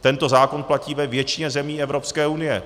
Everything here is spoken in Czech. Tento zákon platí ve většině zemí Evropské unie.